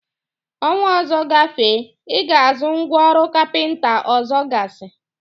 Ọnwa ọzọ gafee, I Ga-azụ ngwa ọrụ kapịnta ọzọgasị?